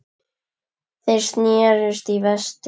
Þeir sneru í vestur.